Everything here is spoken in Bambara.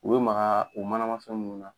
U be maga u manamafɛn ninnu na.